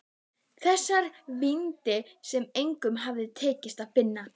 Þessar víddir sem engum hafði tekist að finna.